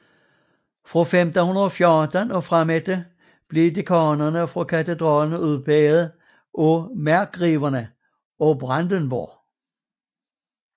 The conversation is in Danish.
Fra 1514 og fremefter blev dekanerne for katedralen udpeget af markgreverne af Brandenburg